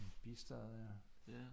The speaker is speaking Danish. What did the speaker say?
En bistad ja